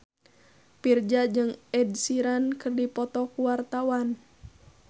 Virzha jeung Ed Sheeran keur dipoto ku wartawan